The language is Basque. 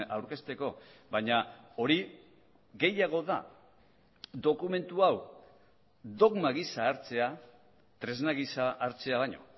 aurkezteko baina hori gehiago da dokumentu hau dogma gisa hartzea tresna gisa hartzea baino